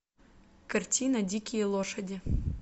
картина дикие лошади